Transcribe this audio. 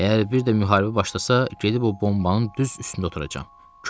Əgər bir də müharibə başlasa, gedib o bombanın düz üstündə oturacam.